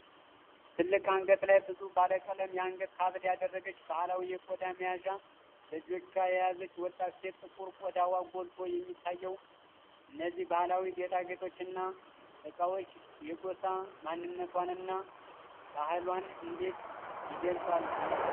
ትልቅ አንገት ላይ ብዙ ባለቀለም የአንገት ሐብል ያደረገች፣ ባህላዊ የቆዳ መያዣ በእጆቿ የያዘች ወጣት ሴት ጥቁር ቆዳዋ ጎልቶ የሚታየው፣ እነዚህ ባህላዊ ጌጣጌጦች እና ዕቃዎች የጎሳ ማንነቷንና ባህሏን እንዴት ይገልጻሉ?